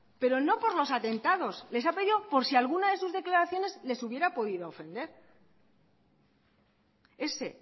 pero no por los atentados les ha pedido por si alguna de sus declaraciones les hubiera podido ofender ese